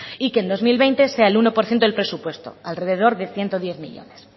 y que en el dos mil veinte sea el uno por ciento del presupuesto alrededor de ciento diez millónes